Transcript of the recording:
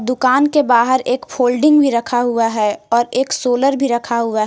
दुकान के बाहर एक फोल्डिंग भी रखा हुआ है और एक सोलर भी रखा हुआ है।